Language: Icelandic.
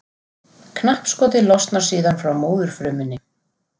Knappskotið losnar síðan frá móðurfrumunni.